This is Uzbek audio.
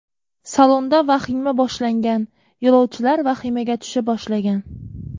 Salonda vahima boshlangan, yo‘lovchilar vahimaga tusha boshlagan.